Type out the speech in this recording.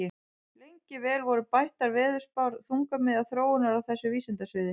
Lengi vel voru bættar veðurspár þungamiðja þróunar á þessu vísindasviði.